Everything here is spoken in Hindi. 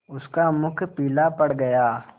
उसका मुख पीला पड़ गया